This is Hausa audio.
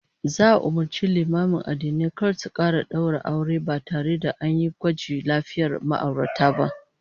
Za'a umurci limaman addinai kar su kara daura aure ba tare da an yi gwajin lafiyar ma'aurata ba